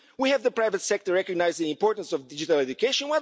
We have the private sector recognise the importance of digital education.